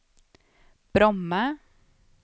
Bromma